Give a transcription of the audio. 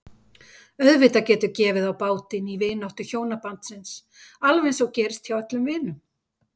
Auðvitað getur gefið á bátinn í vináttu hjónabandsins alveg eins og gerist hjá öllum vinum.